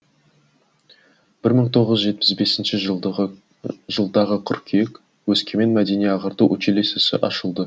бір мың тоғыз жүз жетпіс бесінші жылдағы қыркүйек өскемен мәдени ағарту училищесі ашылды